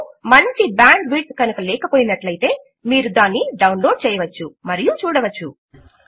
మీకు మంచి bandwidth కనుక లేక పోయినట్లు అయితే మీరు దానిని డౌన్లోడ్ చేయవచ్చు మరియు చూడవచ్చు